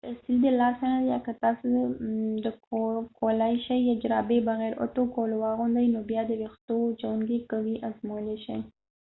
که استري د لاسه نه ده یا که تاسو د کولای شئ جرابې بغېر اوتو کولو واغوندئ نو بیا د ويښتووچوونکی که وي ازمویلای شئ